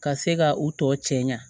Ka se ka u tɔ cɛ ɲa